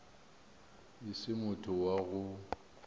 e se motho wa go